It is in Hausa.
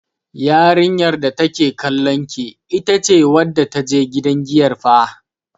Yarinyar da take kallon ki, ita ce wadda ta je gidan giyar fah.